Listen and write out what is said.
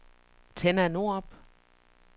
Tenna Norup